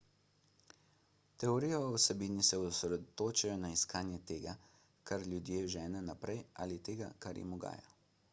teorije o vsebini se osredotočajo na iskanje tega kar ljudi žene naprej ali tega kar jim ugaja